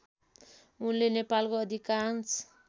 उनले नेपालको अधिकांश